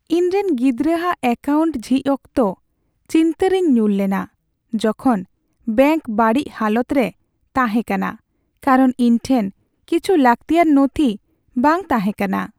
ᱤᱧ ᱨᱮᱱ ᱜᱤᱫᱽᱨᱟᱹᱼᱟᱜ ᱮᱠᱟᱣᱩᱱᱴ ᱡᱷᱤᱡ ᱚᱠᱛᱚ ᱪᱤᱱᱛᱟᱹ ᱨᱮᱧ ᱧᱩᱨ ᱞᱮᱱᱟ ᱡᱚᱠᱷᱚᱱ ᱵᱮᱝᱠ ᱵᱟᱹᱲᱤᱡ ᱦᱟᱞᱚᱛ ᱨᱮ ᱛᱟᱦᱮᱸ ᱠᱟᱱᱟ ᱠᱟᱨᱚᱱ ᱤᱧᱴᱷᱮᱱ ᱠᱤᱪᱷᱩ ᱞᱟᱹᱠᱛᱤᱭᱟᱱ ᱱᱚᱛᱷᱤ ᱵᱟᱝ ᱛᱟᱦᱮᱸ ᱠᱟᱱᱟ ᱾